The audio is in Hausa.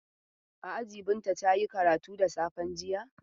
A aji Binta ta yi karatu da safen jiya.